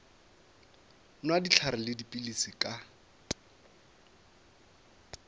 nwa dihlare le dipilisi ka